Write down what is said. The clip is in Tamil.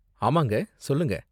ஆமாங்க, சொல்லுங்க.